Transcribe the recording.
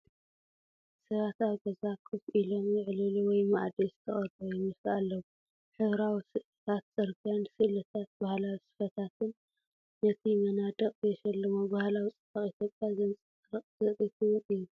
ሰባት ኣብ ገዛ ኮፍ ኢሎም ይዕልሉ ወይ ማኣዲ ዝተቐረቡይመስሉ ኣለዉ። ሕብራዊ ስእልታት ጽርግያን ስእልታትባህላዊ ስፈታትን ነቲ መናድቕ የሸልሞ፤ ባህላዊ ጽባቐ ኢትዮጵያ ዘንጸባርቕ ትርኢት ውን እዩ።